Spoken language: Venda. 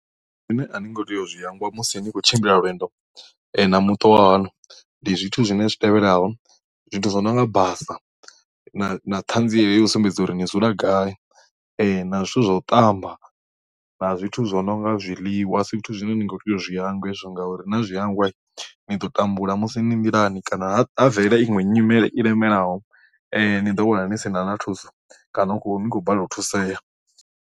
Zwine a ningo tea u zwi hangwa musi ni tshi khou tshimbila lwendo na muṱa wahaṋu ndi zwithu zwine zwi tevhelaho zwithu zwi nonga basa na thanziela ya u sumbedza uri ni dzula gai na zwithu zwa u ṱamba na zwithu zwo no nga zwiḽiwa a si zwithu zwine nikho tea u zwi hangwa hezwo ngauri na zwi hangwa ni ḓo tambula musi ni nḓilani kana ha bvelele iṅwe nyimele i lemelaho ni ḓo wana ni sina na thuso kana ni khou balelwa u thusea.